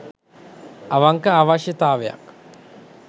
අවංක අවශ්‍යතාවයක්